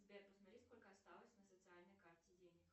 сбер посмотри сколько осталось на социальной карте денег